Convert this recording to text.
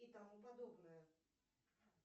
и тому подобное